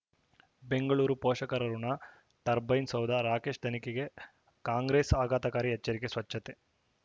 ಬೆಂಗಳೂರು ಪೋಷಕರಋಣ ಟರ್ಬೈನು ಸೌಧ ರಾಕೇಶ್ ತನಿಖೆಗೆ ಕಾಂಗ್ರೆಸ್ ಆಘಾತಕಾರಿ ಎಚ್ಚರಿಕೆ ಸ್ವಚ್ಛತೆ